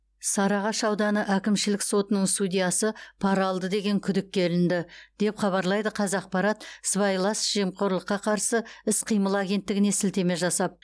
сарыағаш ауданы әкімшілік сотының судьясы пара алды деген күдікке ілінді деп хабарлайды қазақпарат сыбайлас жемқорлыққа қарсы іс қимыл агенттігіне сілтеме жасап